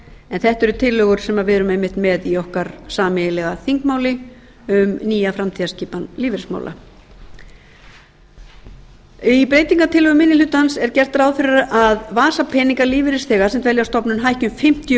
en þetta eru tillögur sem við erum einmitt með í okkar sameiginlega þingmáli um nýja framtíðarskipan lífeyrismála í breytingartillögu minni hlutans er gert ráð fyrir að vasapeningar lífeyrisþega sem dvelja á stofnunum hækki um fimmtíu